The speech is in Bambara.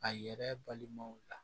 A yɛrɛ balimaw la